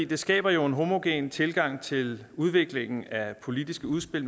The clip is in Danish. det skaber jo en homogen tilgang til udviklingen af politiske udspil